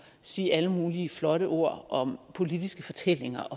sige alle mulige flotte ord om politiske fortællinger